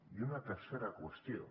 i una tercera qüestió